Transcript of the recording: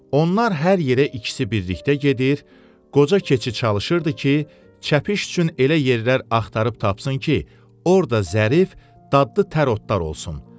Onlar hər yerə ikisi birlikdə gedir, qoca keçi çalışırdı ki, çəpiş üçün elə yerlər axtarıb tapsın ki, orda zərif, dadlı tər otlar olsun.